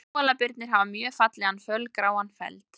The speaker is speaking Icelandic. Kóalabirnir hafa mjög fallegan fölgráan feld.